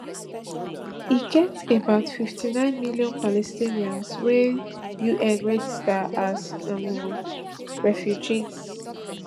e get about fifty-nine million palestinians wey un register as um refugees